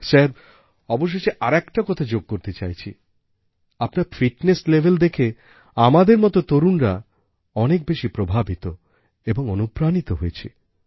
sir সবশেষে আর একটি কথা যোগ করতে চাইছি আপনার ফিটনেস লেভেল দেখে আমাদের মতো তরুণরা অনেক বেশি প্রভাবিত এবং অনুপ্রাণিত হয়েছি